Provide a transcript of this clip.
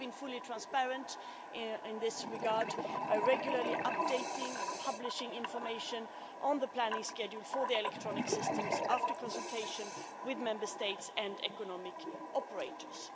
We have been fully transparent in this regard by regularly updating and publishing information on the planning schedule for the electronic systems, after consultation with Member States and economic operators.